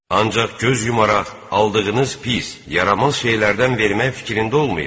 Ancaq göz yumaraq aldığınız pis, yaramaz şeylərdən vermək fikrində olmayın.